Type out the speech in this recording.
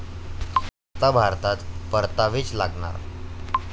आता भारतात परतावेच लागणार